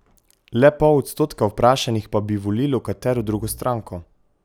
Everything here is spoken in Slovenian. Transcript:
Le pol odstotka vprašanih pa bi volilo katero drugo stranko.